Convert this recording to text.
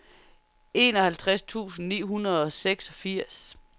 enoghalvtreds tusind ni hundrede og seksogfirs